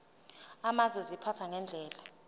amazwe ziphathwa ngendlela